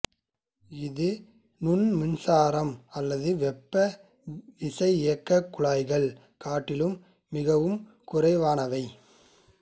இது நுண்மின்சாரம் அல்லது வெப்ப விசையியக்கக் குழாய்களைக் காட்டிலும் மிகவும் குறைவானவை